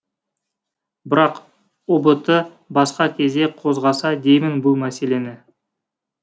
бірақ ұбт басқа кезде қозғаса деймін бұл мәселені